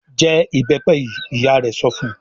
"Jẹ ìbẹ́pẹ yìí!" Ìyá rẹ̀ sọ fun.